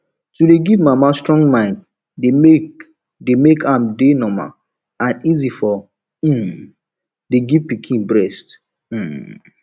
to dey give mama strong mind dey make dey make am dey normal and easy to um dey give pikin breast um